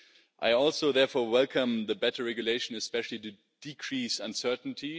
I also therefore welcome better regulation, especially decreased uncertainty.